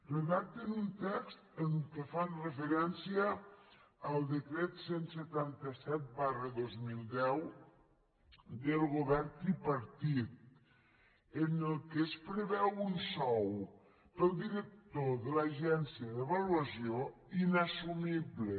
redacten un text en què fan referència al decret cent i setanta set dos mil deu del govern tripartit en què es preveu un sou per al director de l’agència d’avaluació inassumible